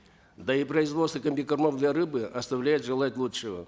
да и производство комбикормов для рыбы оставляет желать лучшего